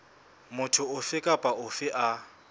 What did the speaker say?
motho ofe kapa ofe a